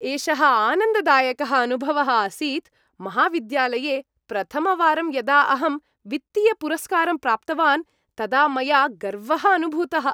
एषः आनन्ददायकः अनुभवः आसीत् । महाविद्यालये प्रथमवारं यदा अहं वित्तीयपुरस्कारं प्राप्तवान् तदा मया गर्वः अनुभूतः।